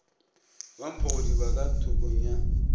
wa mphogodiba ka thokong ya